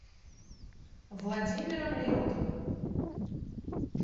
владимиром реутовым